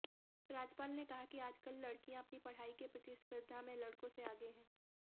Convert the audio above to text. राज्यपाल ने कहा कि आजकल लड़कियां अपनी पढ़ाई की प्रतिस्पर्धा में लड़कों से आगे हैं